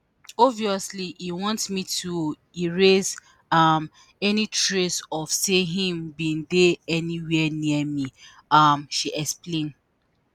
“obviously e want me to erase um any trace of say im bin dey anywia near me” um she explain.